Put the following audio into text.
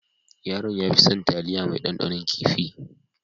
Yaron ya fi son taliya mai dandanon kifi.